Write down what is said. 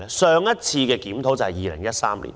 上次審議是在2013年舉行。